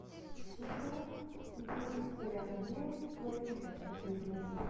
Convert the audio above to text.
сезон девять сериал белый воротничок последняя серия